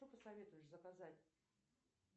что посоветуешь заказать